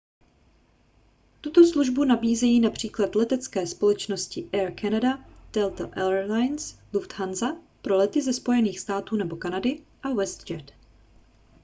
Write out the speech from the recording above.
tuto službu nabízejí například letecké společnosti air canada delta air lines lufthansa pro lety ze spojených států nebo kanady a westjet